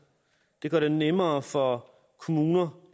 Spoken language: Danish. det gør det nemmere for kommuner